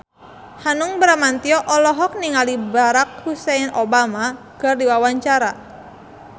Hanung Bramantyo olohok ningali Barack Hussein Obama keur diwawancara